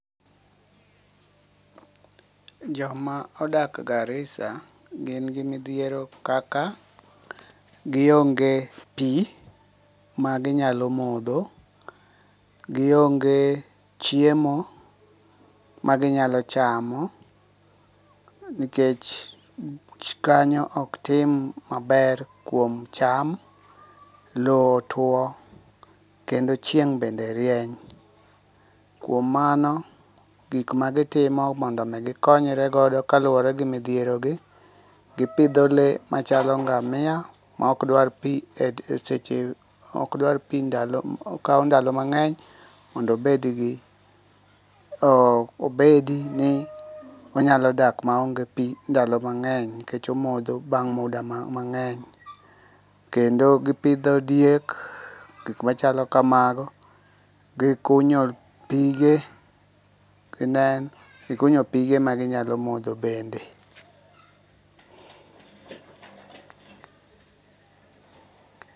Joma odak Garisa gin gi midhiero kaka gionge pi maginyalo modho. Gionge chiemo ma ginyalo chamo, nikech kanyo ok tim maber kuom cham. Lowo otuo kendo chieng' bende rieny. Kuom mano, gik magitimo mondo mi gikonyre godo kaluwore gi midhierogi, gipidho le machalo ngamia, maok dwar pi eseche maok dwar pi okawo ndalo mang'eny mondo obed gi eh obedi ni onyalo dak maonge pi ndalo mang'eny, nikech omodho bang' muda mang'eny. Kendo gi pidho diek, gik machalo kamago, gi kunyo pige, kenen gikunyo pige maginyalo modho bende.